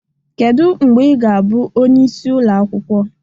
Kedu mgbe ị ga-abụ onye isi ụlọ akwụkwọ?